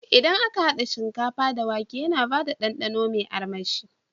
Idan aka hada shinkafa da wake yana bada dandano me armashi